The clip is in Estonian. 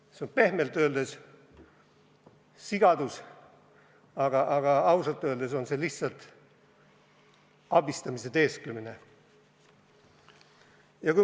See on pehmelt öeldes sigadus, aga ausalt öeldes on see lihtsalt abistamise teesklemine.